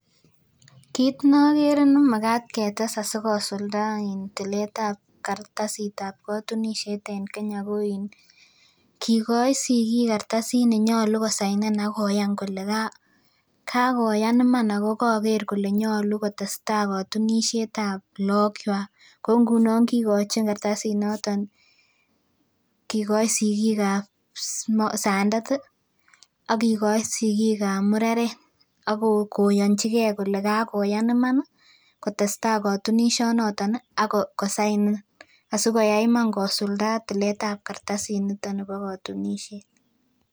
Kit nogere nemagaat ketes sigosulda tiletab kartasitab kotunisiet en Kenya koin kigoi sigik kartasit nenyolu kosainen agoyaan kole kagoyaam iman ogogakee kole nyolu kitestai kotunisietab lakogwak koungunon kigochin kartasit noton kigoin sikikab sandet ih akikoih sikikab mureret akoyonchige kole kakoyaan iman kitestai kotunisiet noton Ako sainen asikoyai iman kosulda tiletab kartasit nito nebo kotunisiet